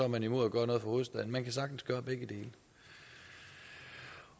man imod at gøre noget for hovedstaden man kan sagtens gøre begge dele